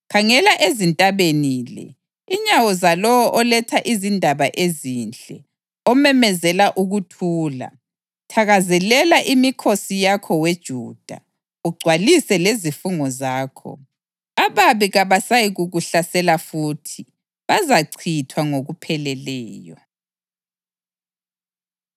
Khangela ezintabeni le, inyawo zalowo oletha izindaba ezinhle, omemezela ukuthula! Thakazelela imikhosi yakho we Juda, ugcwalise lezifungo zakho. Ababi kabasayikukuhlasela futhi; bazachithwa ngokupheleleyo.